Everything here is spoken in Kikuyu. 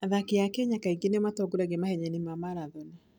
Athaki a Kenya kaingĩ nĩo matongoragia mahenya-inĩ ma marathoni.